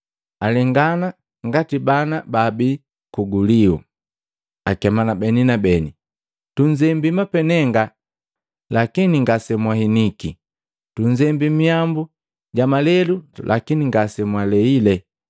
Alengana ngati bana baabii kugulio. Akemana beni na beni. ‘Tunzembi mapenenga, lakini ngasemwahiniki! Tunzembi mihambu ja malelu, lakini ngasemwaleile!’